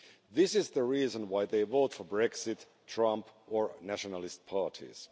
This is the reason why they vote for Brexit, Trump or nationalist parties.